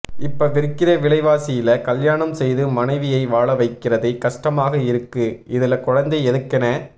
இப்ப விற்கிற விலைவாசியில கல்யாணம் செய்து மனைவியை வாழ வைக்கிறதே கஷ்டமாக இருக்கு இதுல குழந்தை எதுக்குணே